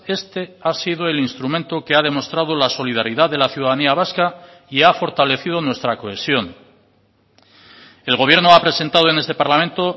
este ha sido el instrumento que ha demostrado la solidaridad de la ciudadanía vasca y ha fortalecido nuestra cohesión el gobierno ha presentado en este parlamento